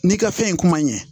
N'i ka fɛn in kuma ɲɛ